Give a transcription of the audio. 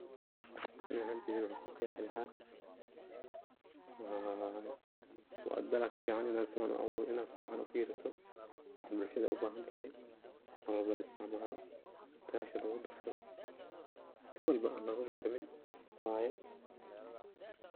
Ani ahanteyda waxan ku qeexi lahaa waa dalag fican in ad si fican u fiiriso waxa bulshada u bahantahay oo mar walbo la isticmaalo tasha lugu darsaado si walbo an loga marmin waye.